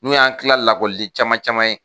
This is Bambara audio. N'u y'an tila caman caman ye.